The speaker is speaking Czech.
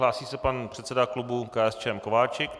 Hlásí se pan předseda klubu KSČM Kováčik.